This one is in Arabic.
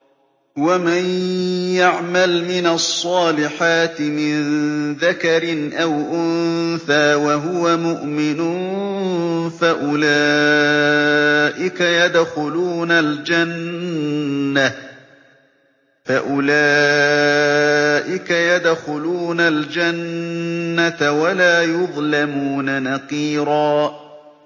وَمَن يَعْمَلْ مِنَ الصَّالِحَاتِ مِن ذَكَرٍ أَوْ أُنثَىٰ وَهُوَ مُؤْمِنٌ فَأُولَٰئِكَ يَدْخُلُونَ الْجَنَّةَ وَلَا يُظْلَمُونَ نَقِيرًا